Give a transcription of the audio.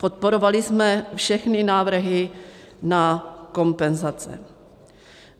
Podporovali jsme všechny návrhy na kompenzace.